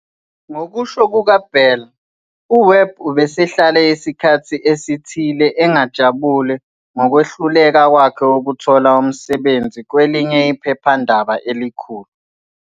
Ngokusho kukaBell, uWebb ubesehlale isikhathi esithile engajabule ngokwehluleka kwakhe ukuthola umsebenzi kwelinye iphephandaba elikhulu.